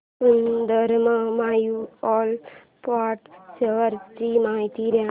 Sundaram mutual fund shares ची माहिती दे